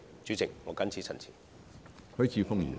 主席，我謹此陳辭。